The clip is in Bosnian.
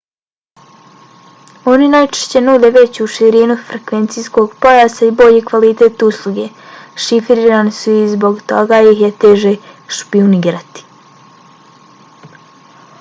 oni najčešće nude veću širinu frekvencijskog pojasa i bolji kvalitet usluge. šifrirani su i zbog toga ih je teže špijunirati